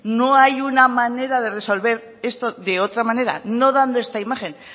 no hay una manera de resolver esto de otra manera no dando esta imagen